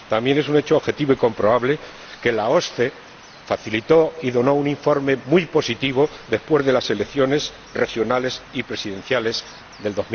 También es un hecho objetivo y comprobable que la OSCE facilitó un informe muy positivo después de las elecciones regionales y presidenciales de